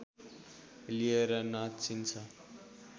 लिएर नाचिन्छ